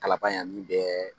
Kalaban yan min bɛɛ